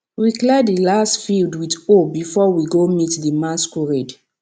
we clear di last field with hoe before we go meet di masquerade